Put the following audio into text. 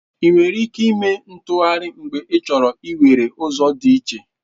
Ị nwere ike ime u-ntụgharị mgbe ịchọrọ iwere ụzọ dị iche.